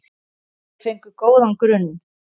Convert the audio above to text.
Þeir fengu góðan grunn.